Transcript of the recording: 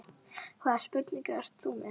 Hvaða spurningu ert þú með?